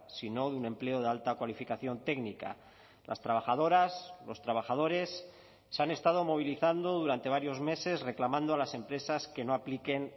sino de un empleo de alta cualificación técnica las trabajadoras los trabajadores se han estado movilizando durante varios meses reclamando a las empresas que no apliquen